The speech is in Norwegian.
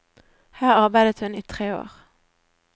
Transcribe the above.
Her arbeidet hun i tre år.